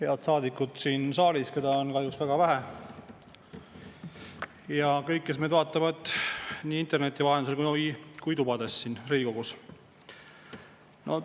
Head saadikud siin saalis, keda on kahjuks väga vähe, ja kõik, kes meid vaatavad nii interneti vahendusel kui tubades siin Riigikogus!